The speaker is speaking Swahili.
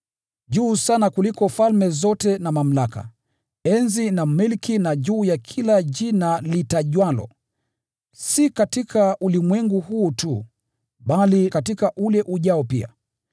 juu sana kuliko falme zote na mamlaka, enzi na milki, na juu ya kila jina litajwalo, si katika ulimwengu huu tu, bali katika ule ujao pia.